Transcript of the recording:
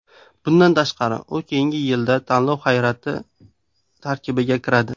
Bundan tashqari u keyingi yilda tanlov hay’ati tarkibiga kiradi.